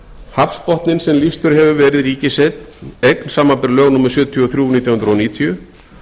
hafsbotninn sem lýstur hefur verið ríkiseign samanber lög númer sjötíu og þrjú nítján hundruð níutíu